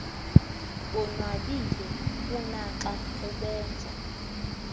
bonwabile kunaxa ubenza